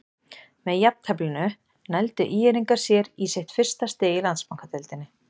Með jafnteflinu nældu ÍR-ingar sér í sitt fyrsta stig í Landsbankadeildinni.